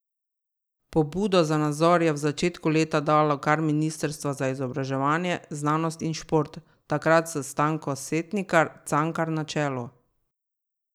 Pobudo za nadzor je v začetku leta dalo kar ministrstvo za izobraževanje, znanost in šport, takrat s Stanko Setnikar Cankar na čelu.